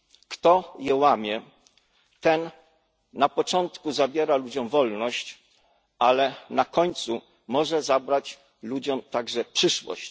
Kto je łamie, ten na początku zabiera ludziom wolność, ale na końcu może zabrać ludziom także przyszłość.